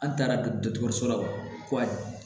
An taara dɔgɔtɔrɔso la o ko